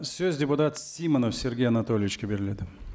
сөз депутат симонов сергей анатольевичке беріледі